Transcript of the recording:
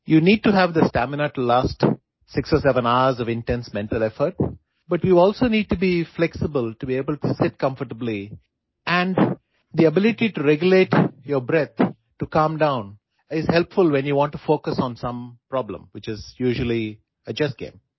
You need to have the stamina to last 6 or 7 hours of intense mental effort, but you also need to be flexible to able to sit comfortably and the ability to regulate your breath to calm down is helpful when you want to focus on some problem, which is usually a Chess game